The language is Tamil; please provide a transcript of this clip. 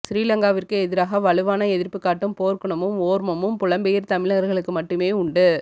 சிறிலங்காவிற்கு எதிராக வலுவான எதிர்ப்புக் காட்டும் போர்க்குணமும் ஓர்மமும் புலம்பெயர் தமிழர்களுக்கு மட்டுமே உண்டு